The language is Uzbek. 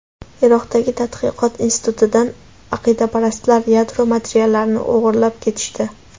Iroqdagi tadqiqot institutidan aqidaparastlar yadro materiallarini o‘g‘irlab ketishdi.